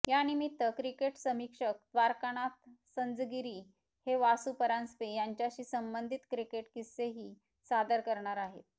यानिमित्त क्रिकेट समीक्षक द्वारकानाथ संझगिरी हे वासू परांजपे यांच्याशी संबंधित क्रिकेट किस्सेही सादर करणार आहेत